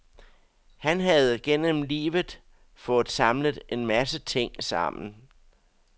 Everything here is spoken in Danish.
Han havde gennem livet fået samlet en masse ting sammen.